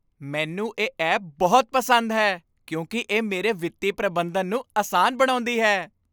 ਮੈਨੂੰ ਇਹ ਐਪ ਬਹੁਤ ਪਸੰਦ ਹੈ ਕਿਉਂਕਿ ਇਹ ਮੇਰੇ ਵਿੱਤੀ ਪ੍ਰਬੰਧਨ ਨੂੰ ਅਸਾਨ ਬਣਾਉਂਦੀ ਹੈ।